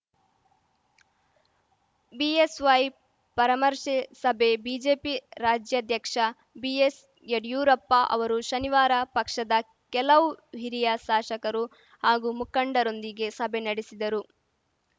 BSY ಪರಾಮರ್ಶೆಸಭೆ BJP ರಾಜ್ಯಾಧ್ಯಕ್ಷ ಬಿಎಸ್‌ಯಡಿಯೂರಪ್ಪ ಅವರು ಶನಿವಾರ ಪಕ್ಷದ ಕೆಲವು ಹಿರಿಯ ಶಾಸಕರು ಹಾಗೂ ಮುಖಂಡರೊಂದಿಗೆ ಸಭೆ ನಡೆಸಿದರು